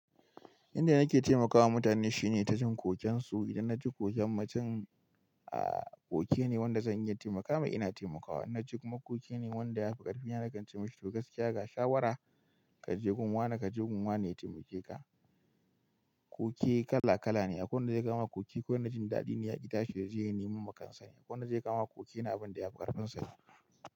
Inda nake taimakawa mutane shine ta jin kokensu. Idan na ji koken mutum, koken ne wanda zan iya taimakawa, ina taimakawa. Na ji kuma koken ne wanda ya fi ƙarfi. Ina nakan ce mishi, to gaskiya ga shawara, ka je gun wane, ka je gun wane ya taimake ka. Koke kala kala ne. Akwai wanda zai kawoma koke, kawai na jin daɗi ne yaƙi ta shi yaje ya neman makansa. Akwai wanda zai kawoma koke na abin da ya fi ƙarfinsane.